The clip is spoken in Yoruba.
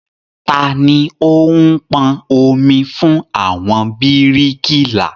Tani o ń pọn omi fún àwọn bíríkìlà?